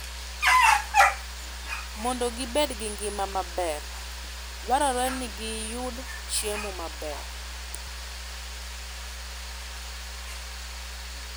Mondo gibed gi ngima maber, dwarore ni giyud chiemo maber.